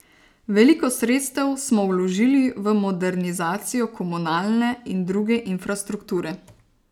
Veliko sredstev smo vložili v modernizacijo komunalne in druge infrastrukture.